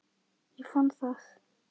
Ég fann það!